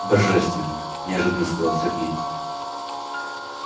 божественно неожиданно сказал сергей